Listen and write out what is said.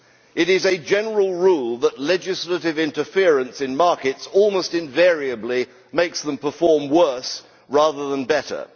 It is a general rule that legislative interference in markets almost invariably makes them perform worse rather than better.